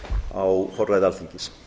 á forræði alþingis